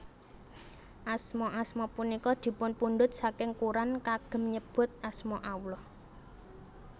Asma asma punika dipunpundhut saking Kuran kagem nyebut asma Allah